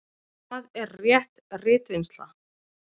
Hvað er rétt ritvinnsla?